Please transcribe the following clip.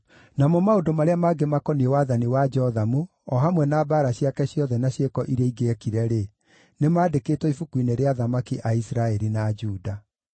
Namo maũndũ marĩa mangĩ makoniĩ wathani wa Jothamu, o hamwe na mbaara ciake ciothe na ciĩko iria ingĩ eekire-rĩ, nĩmandĩkĩtwo ibuku-inĩ rĩa athamaki a Isiraeli na Juda.